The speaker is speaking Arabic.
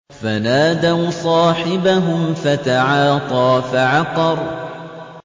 فَنَادَوْا صَاحِبَهُمْ فَتَعَاطَىٰ فَعَقَرَ